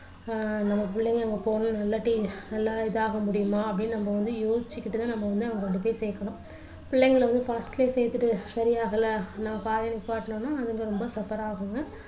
ஆஹ் நம்ம புள்ளைங்க அங்க போனா நல்ல இதாக முடியுமா அப்படின்னு நம்ம வந்து யோசிச்சுகிட்டு தான் நம்ம வந்து சேர்க்கணும் பிள்ளைங்கள வந்து first லயே சேர்த்துட்டு சரியாகல பாக்கணும்னா அது ரொம்ப suffer ஆகுங்க.